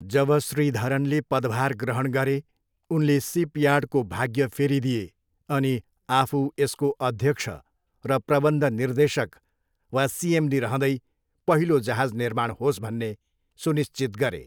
जब श्रीधरनले पदभार ग्रहण गरे, उनले सिपयार्डको भाग्य फेरिदिए अनि आफू यसको अध्यक्ष र प्रबन्ध निर्देशक वा सिएमडी रहँदै पहिलो जहाज निर्माण होस् भन्ने सुनिश्चित गरे।